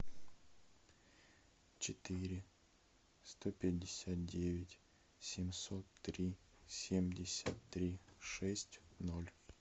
четыре сто пятьдесят девять семьсот три семьдесят три шесть ноль